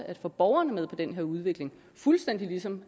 at få borgerne med på den her udvikling fuldstændig som